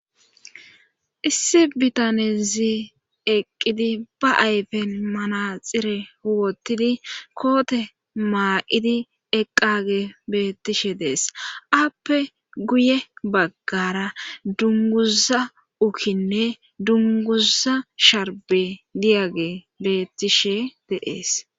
issi bitanezi eqqidi ba ayfen manaxire huwottidi koote maa7idi eqqage beettishe dees appe guye baggara dunguza ukinne dunguza sharbe diyage beettishe dees.